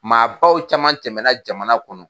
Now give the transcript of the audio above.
Maabaw caman tɛmɛna jamana kɔnɔ.